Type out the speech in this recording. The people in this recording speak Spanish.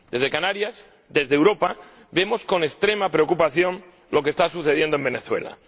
Desde Canarias, desde Europa, vemos con extrema preocupación lo que está sucediendo en Venezuela.